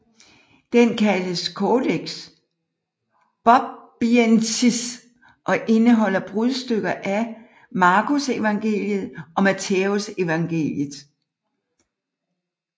Den kaldes Codex Bobbiensis og indeholder brudstykker af Markusevangeliet og Mattæusevangeliet